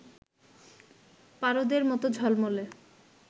পারদের মত ঝলমলে